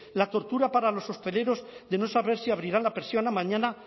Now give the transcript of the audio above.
la tortura para los hosteleros de no saber si abrirán la persiana mañana